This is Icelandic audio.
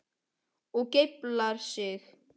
Og geiflar sig.